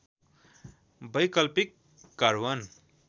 वैकल्पिक कार्बन